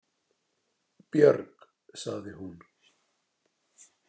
Björg, sagði hún.